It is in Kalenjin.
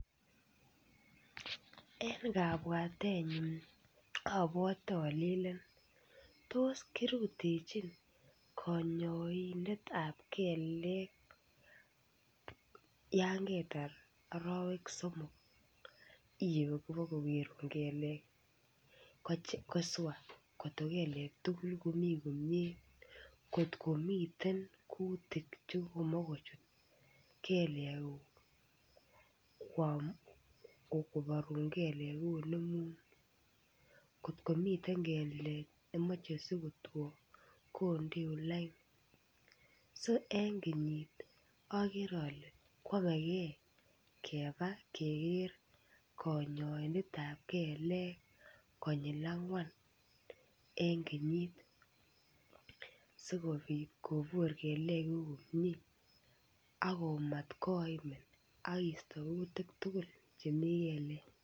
Eng' kapwatennyu apwate ale ilen tos kirutechin konyoindetap kelek yaan ketar arawek somok iwe kokeruun kelek kosua kotko kelek tukul komi komie, ngot komitei kutiik chen kokochut kelekuuk kwaam, koparun kelekuk. Ngot komitei kelek ne machei sikotoun kondoun line. So eng kenyit akere ale ko kakee kepa keker konyoindetap kelek konyil angwan eng kenyit sikopit kopuur kelekuuk komie ako mat koimin akeista kutik tukul chemi kelek.